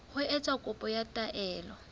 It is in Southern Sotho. ho etsa kopo ya taelo